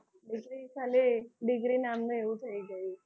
હવે તો ખાલી degree નામની એવું થઈ ગયું છે.